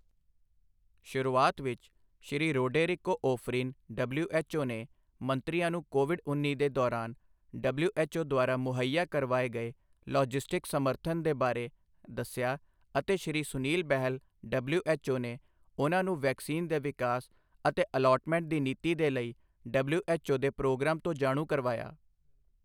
ਸ਼ੁਰੂਆਤ ਵਿੱਚ, Shri Roderico Ofrin WHO ਨੇ ਮੰਤਰੀਆਂ ਨੂੰ ਕੋਵਿਡ ਉੱਨੀ ਦੇ ਦੌਰਾਨ ਡਬਲਯੂਐੱਚਓ ਦੁਆਰਾ ਮੁਹੱਈਆ ਕਰਵਾਏ ਗਏ ਲੌਜਿਸਟਿਕ ਸਮਰਥਨ ਦੇ ਬਾਰੇ ਦੱਸਿਆ ਅਤੇ ਸ਼੍ਰੀ ਸੁਨੀਲ ਬਹਲ ਡਬਲਯੂਐੱਚਓ ਨੇ ਉਨ੍ਹਾਂ ਨੂੰ ਵੈਕਸੀਨ ਦੇ ਵਿਕਾਸ ਅਤੇ ਅਲਾਟਮੈਂਟ ਦੀ ਨੀਤੀ ਦੇ ਲਈ ਡਬਲਯੂਐੱਚਓ ਦੇ ਪ੍ਰੋਗਰਾਮ ਤੋਂ ਜਾਣੂ ਕਰਵਾਇਆ।